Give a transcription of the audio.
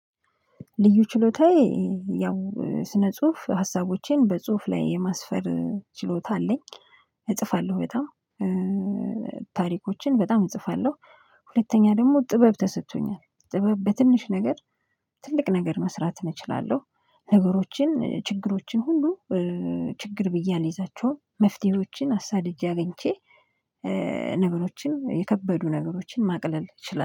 ልዩ ችሎታዬ ያው ስነ ጽሁፍ ሀሳቦቼን በጽሁፍ ላይ የማስፈር ችሎታ አለኝ። እጽፋለሁ በጣም ታሪኮችን በጣም እጽፋለሁ። ሁለተኛ ደግሞ ጥበብ ተሰጥቶኛል ጥበብ በትንሽ ነገር ትልቅ ነገር መስራት እችላለሁ። ነገሮችን ችግሮችን ሁሉ ችግር ብዬ አልይዛቸውም መፍትሄዎችን አሳድጄ አግኝቼ። ነገሮችን የከበዱ ነገሮችን ማቅለል እችላለሁ